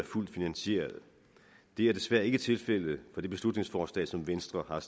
fuldt finansieret det er desværre ikke tilfældet med det beslutningsforslag som venstre har